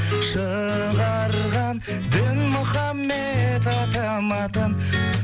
шығарған дінмұхаммед атам атын